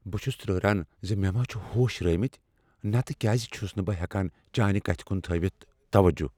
بہ چھُس ترہران ز مےٚ ما چھ ہوش رٲوۍمٕتۍ نتہٕ کیٛاز چھس نہٕ بہٕ ہیکان چانہ کتھِ کن تھٲوتھ توَجو۔